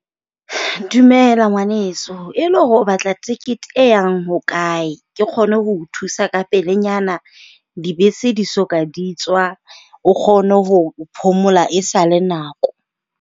Dumela ngwaneso e le hore o batla tekete e yang ho kae? Ke kgone ho o thusa ka pelenyana dibese di so ka di tswa o kgone ho phomola e sa le nako.